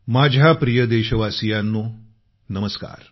माझ्या प्रिय देशवासियांनो नमस्कार